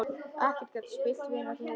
Ekkert gat spillt vináttu þeirra.